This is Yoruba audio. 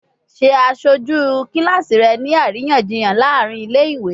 Ṣe aṣoju kilasi rẹ ni ariyanjiyan laarin ile-iwe!